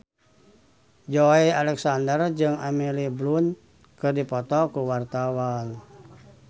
Joey Alexander jeung Emily Blunt keur dipoto ku wartawan